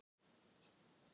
Ég var ekki sátt.